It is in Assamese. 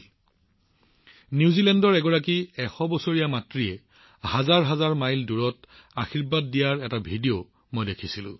মই হাজাৰ হাজাৰ মাইল দূৰত থকা নিউজিলেণ্ডৰ সেই ভিডিঅটোও দেখিছিলো যত এগৰাকী ১০০ বছৰীয়া মহিলাই তেওঁৰ মাতৃসূলভ আশীৰ্বাদ দিছে